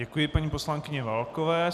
Děkuji paní poslankyni Válkové.